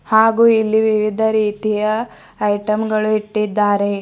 ಹಾಗೂ ಇಲ್ಲಿ ವಿವಿಧ ರೀತಿಯ ಐಟಮ್ ಗಳು ಇಟ್ಟಿದ್ದಾರೆ.